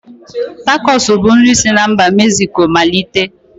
Takos bu nri si n'mba Mezico malite